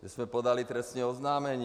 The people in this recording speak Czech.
My jsme podali trestní oznámení.